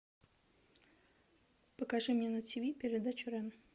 покажи мне на тв передачу рен